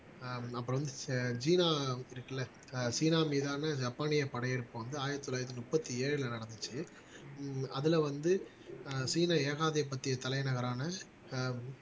ஆஹ் அப்புறம் வந்து சீனா இருக்குல்ல ஆஹ் சீனா மீதான ஜப்பானிய படையெடுப்பு வந்து ஆயிரத்தி தொள்ளாயிரத்தி முப்பத்தி ஏழுல நடந்துச்சு உம் அதுல வந்து ஆஹ் சீன ஏகாதிபத்திய தலைநகரான ஆஹ்